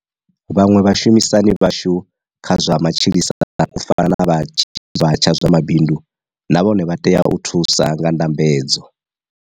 Vhaṅwe vha shumisani vhashu kha zwa matshilisano u fana na vha tshi tshavha tsha zwa mabindu na vhone vha tea u thusa nga ndambedzo.